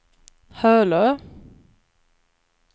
Hölö